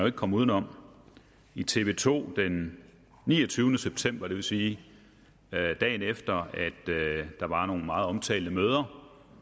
ikke komme uden om i tv to den niogtyvende september det vil sige dagen efter at der var nogle meget omtalte møder